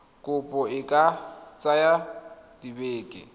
kopo e ka tsaya dibeke